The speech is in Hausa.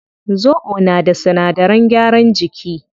Zobo na da sinadaran gyaran jiki